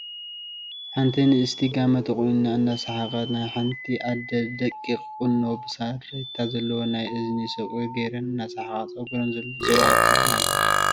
ሓንቲ ንእስቲ ጋመ ተቆኒና እናሰሓቀትን ናይ ሓንቲ አደ ደቂቅ ቁኖ ብሳርዴታ ዘለዎ ናይ እዝኒ ሶቂር ጌረን እናሰሓቃ ፀጉረን ዘው ኣቢለን ኣለዋ።